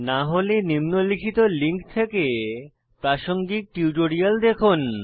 না হলে নিম্নলিখিত লিঙ্ক থেকে প্রাসঙ্গিক টিউটোরিয়াল দেখুন